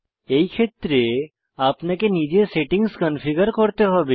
এই ক্ষেত্রে আপনাকে নিজে সেটিংস কনফিগার করতে হবে